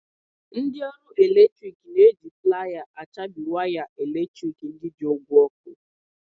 Ndị ọrụ eletrik na-eji playa achabi waya eletrik ndị ji ụgwọ ọ́kụ́.